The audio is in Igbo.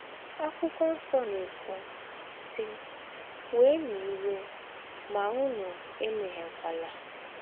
Àkwụ́kwọ́ Nsọ na - èkwú, sì: “ Wēēnụ̀ íwé, mà ǔnù èméhíèkwàlà. ”